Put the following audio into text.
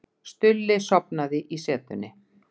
Stulli sofnaði í setunni.